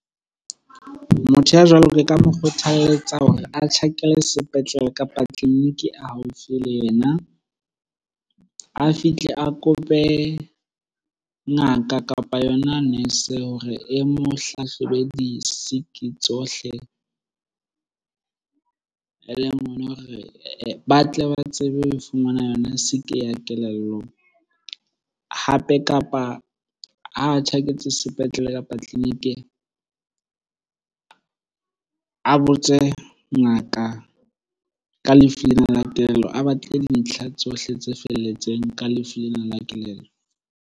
Motho ya jwalo ke ka mo kgothaletsa hore a tjhakele sepetlele, kapa tleliniki e haufi le yena. A fihle a kope ngaka kapa yona nurse hore e mo hlahlobe di-sick-i tsohle e leng ona hore ba tle ba tsebe ho fumana yona sick-i ya kelellong. Hape, kapa ha tjhaketse sepetlele kapa tleliniking a botse ngaka ka lefu lena la kelello, a batle dintlha tsohle tse felletseng ka lefu lena la kelello.